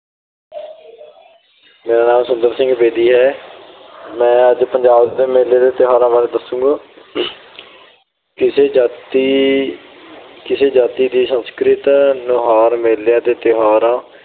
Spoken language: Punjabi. ਮੇਰਾ ਨਾਮ ਸੁੰਦਰ ਸਿੰਘ ਬੇਦੀ ਹੈ। ਮੈਂ ਅੱਜ ਪੰਜਾਬ ਦੇ ਮੇਲੇ ਅਤੇ ਤਿਉਹਾਰਾਂ ਬਾਰੇ ਦਸੂੰਗਾ। ਕਿਸੇ ਜਾਤੀ ਅਹ ਕਿਸੇ ਜਾਤੀ ਦੀ ਸੰਸਕ੍ਰਿਤ ਨੁਹਾਰ ਮੇਲੇ ਅਤੇ ਤਿਉਹਾਰਾਂ